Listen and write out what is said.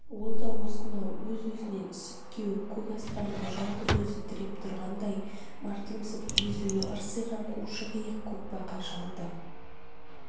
ол да осынау өз-өзінен ісіп-кеуіп көк аспанды жалғыз өзі тіреп тұрғандай мардымсып езуі ырсиған қушық иық көкбақа шалды